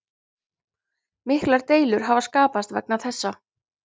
Miklar deilur hafa skapast vegna þessa